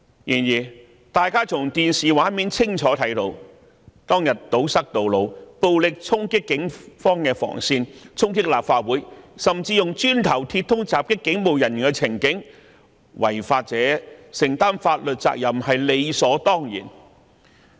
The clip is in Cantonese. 然而，大家從電視畫面清楚看到當日示威者堵塞道路、暴力衝擊警方防線、衝擊立法會，甚至以磚塊和鐵枝襲擊警務人員的情景，違法者須承擔法律責任是理所當然。